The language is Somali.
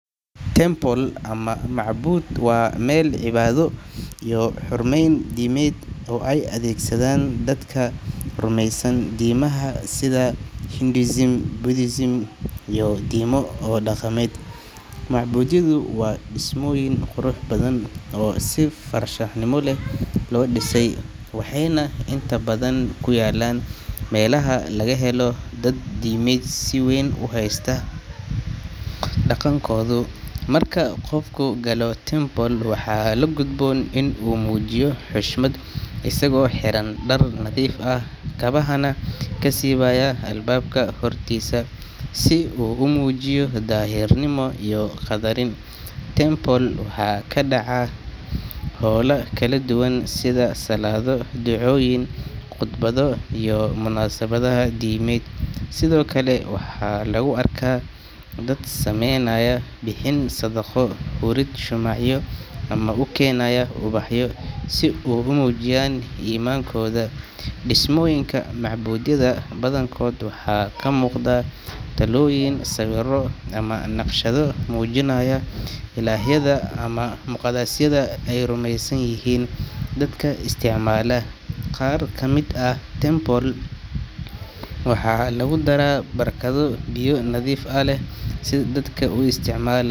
Temple ama macbud waa meel cibaado iyo xurmeyn diimeed oo ay adeegsadaan dadka rumeysan diimaha sida Hinduism, Buddhism, iyo diimo kale oo dhaqameed. Macbudyadu waa dhismooyin qurux badan oo si farshaxanimo leh loo dhisay, waxayna inta badan ku yaallaan meelaha laga helo dad diimeed si weyn u haysta dhaqankooda. Marka qofku galo temple, waxaa la gudboon in uu muujiyo xushmad, isagoo xiran dhar nadiif ah, kabahana ka siibaya albaabka hortiisa, si uu u muujiyo daahirnimo iyo qadarin. Temple waxaa ka dhaca hawlo kala duwan sida salaado, ducooyin, qudbado iyo munaasabadaha diimeed. Sidoo kale, waxaa lagu arkaa dad samaynaya bixin sadaqo, hurid shumacyo ama u keenaya ubaxyo si ay u muujiyaan iimaankooda. Dhismooyinka macbudyada badankood waxaa ka muuqda taallooyin, sawirro ama naqshado muujinaya ilaahyada ama muqadasyada ay rumeysan yihiin dadka isticmaala. Qaar ka mid ah temples waxaa lagu daraa barkado biyo nadiif ah leh oo dadka isticmaala.